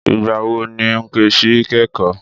Ìgbà wo ni Nkechi kẹ́kọ̀ọ́?